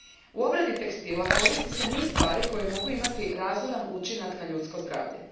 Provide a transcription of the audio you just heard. U obradi tekstila koristi se niz stvari koje mogu imati razoran učinak na ljudsko zdravlje.